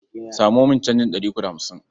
Samo min canjin ɗari uku da hamsin.